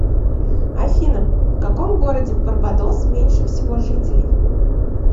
афина в каком городе в барбадос меньше всего жителей